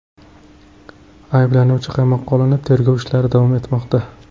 Ayblanuvchi qamoqqa olinib, tergov ishlari davom etmoqda.